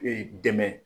Ee dɛmɛ